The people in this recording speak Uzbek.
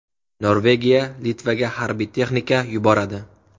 Norvegiya Litvaga harbiy texnika yuboradi.